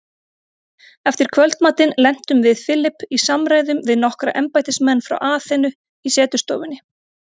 Eftir kvöldmatinn lentum við Philip í samræðum við nokkra embættismenn frá Aþenu í setustofunni.